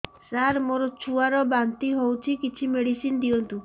ସାର ମୋର ଛୁଆ ର ବାନ୍ତି ହଉଚି କିଛି ମେଡିସିନ ଦିଅନ୍ତୁ